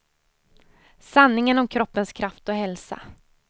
Sanningen om kroppens kraft och hälsa.